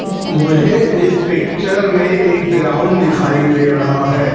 मुझे इस पिक्चर में ग्राउंड दिखाई दे रहा है।